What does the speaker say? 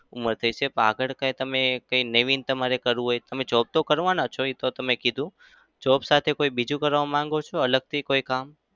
ઉંમર થશે. પણ આગળ કઈ તમે કઈ નવીન તમારે કરવું હોય તો તમે job તો કરવાનો જ છો. એતો તમે કીધું job સાથે કોઈ બીજું કરવા માંગો છો અલગથી કોઈ કામ?